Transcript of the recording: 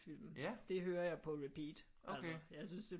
Film det hører jeg på repeat altså jeg synes det